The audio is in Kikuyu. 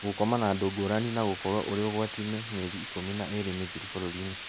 Gũkoma na andũ ngũrani na gũkorwo ũrĩ ũgwati-inĩ mĩeri ikũmi na ĩĩrĩ mĩthiru bũrũri inĩ